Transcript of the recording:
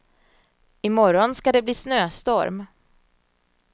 I morgon ska det bli snöstorm.